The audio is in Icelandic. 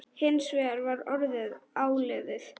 Hins vegar var orðið áliðið.